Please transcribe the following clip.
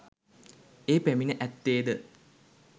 ඒ පැමිණ ඇත්තේ ද